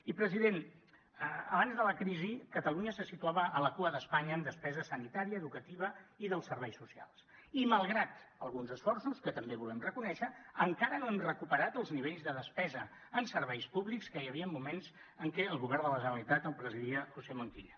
i president abans de la crisi catalunya se situava a la cua d’espanya en despesa sanitària educativa i dels serveis socials i malgrat alguns esforços que també volem reconèixer encara no hem recuperat els nivells de despesa en serveis públics que hi havia en moments en què el govern de la generalitat el presidia josé montilla